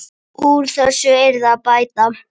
Úr þessu yrði að bæta.